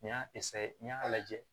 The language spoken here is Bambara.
Nin y'a n y'a lajɛ